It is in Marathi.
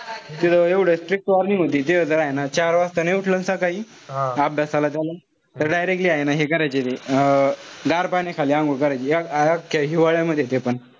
तिथं एवढं strict warning होती. तिथं तर हाये ना चार वाजता उठलं सकाळी अभ्यासाला का मंग directly हाये ना हे करायचे. अं गर पाण्याखाली अंघोळ करायचे. अक्ख्या हिवाळ्यामध्येपण.